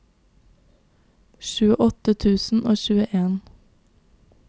tjueåtte tusen og tjueen